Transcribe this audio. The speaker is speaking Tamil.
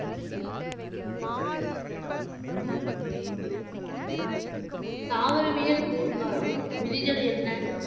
தாவரவியல் பூங்காவில் விதிகள் என்ன?